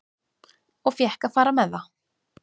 Og fékk að fara með það.